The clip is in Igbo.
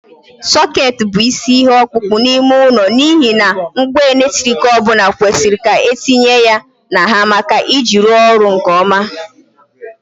Soket bụ isi ihe ọkpụkpọ n'ime ụlọ n'ihi na ngwa eletrik ọ bụla kwesịrị ka etinye ya na ha maka iji ya rụọ ọrụ nke ọma.